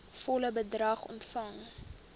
volle bedrag ontvang